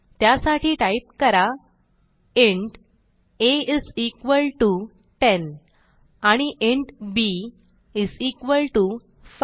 त्यासाठी टाईप करा int a is equal to 10 आणि इंट बी इस इक्वाल्टो 5